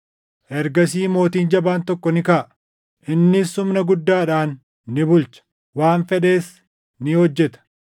Ergasii mootiin jabaan tokko ni kaʼa; innis humna guddaadhaan ni bulcha; waan fedhes ni hojjeta.